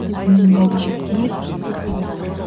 сезімнің дәрежесіне көтереді